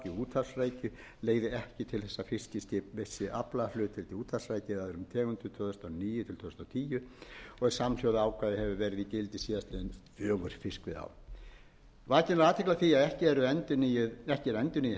í úthafsrækju eða öðrum tegundum tvö þúsund og níu tvö þúsund og tíu en samhljóða ákvæði hefur verið í gildi síðastliðin fjögur fiskveiðiár vakin er athygli á því að ekki er endurnýjuð heimild til þess